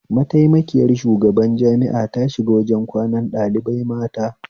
Mataimakiyar shugaban jami'a ta shiga wajen kwanan ɗalibai mata